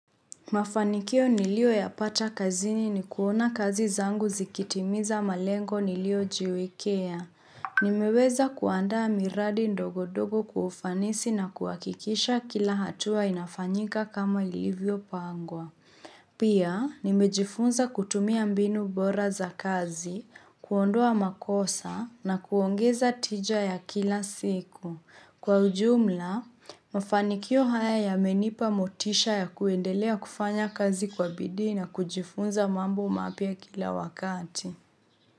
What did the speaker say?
Mafanikio nilio ya pata kazini ni kuona kazi zangu zikitimiza malengo niliojiwekea. Nimeweza kuandaa miradi ndogo ndogo kufanisi na kuwakikisha kila hatua inafanyika kama ilivyo pangwa. Pia, nimejifunza kutumia mbinu bora za kazi, kuondoa makosa na kuongeza tija ya kila siku. Kwa ujumla, mafanikio haya ya menipa motisha ya kuendelea kufanya kazi kwa bidii na kujifunza mambo mapia kila wakati.